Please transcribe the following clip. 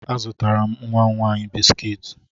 Azụtara m nwa m nwaanyị biskiiti.